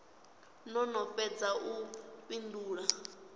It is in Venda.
no no fhedza u fhindula